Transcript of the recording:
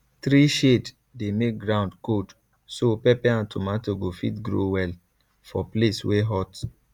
tree shade dey make ground cold so pepper and tomato go fit grow well for place wey hot